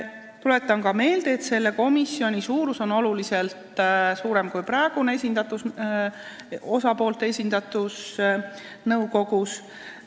Tuletan ka meelde, et see komisjon on oluliselt suurem kui praegune osapoolte esindatus nõukogus.